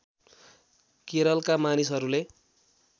केरलका मानिसहरूले